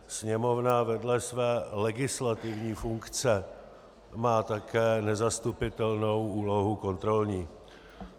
Sněmovna vedle své legislativní funkce má také nezastupitelnou úlohu kontrolní.